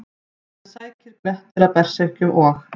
Síðan sækir Grettir að berserkjum og: